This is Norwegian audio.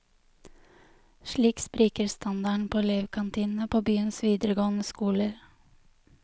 Slik spriker standarden på elevkantinene på byens videregående skoler.